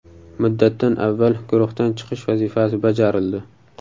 Muddatdan avval guruhdan chiqish vazifasi bajarildi.